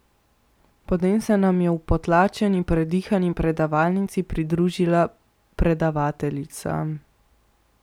Potem se nam je v potlačeni, predihani predavalnici pridružila predavateljica.